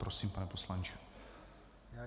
Prosím, pane poslanče.